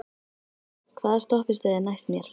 Ingvar, hvaða stoppistöð er næst mér?